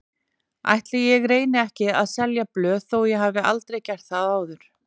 Ætli ég reyni ekki að selja blöð þó ég hafi aldrei gert það áður.